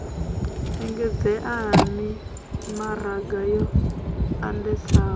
engedzea ha mimaraga yo andesaho